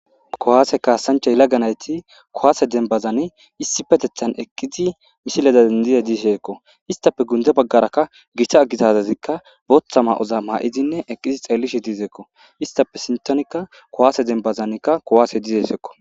kuwaase kaasanchay lagge nayti kowaase denbazani issi petethan eqqizi mishileda dendize diisheekko istape gunde baggarakka gita aggizazazikka booththa ma7oza ma7idinne eqqizi xeellishe diizeekko istape sintonikka kowaase denbazanikka kowaase diize sekko